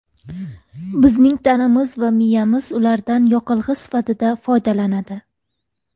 Bizning tanamiz va miyamiz ulardan yoqilg‘i sifatida foydalanadi.